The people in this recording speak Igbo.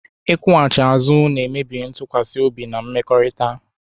Ịkwụghachi azụ na-emebi ntụkwasị obi na mmekọrịta